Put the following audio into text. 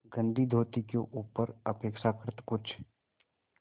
गंदी धोती के ऊपर अपेक्षाकृत कुछ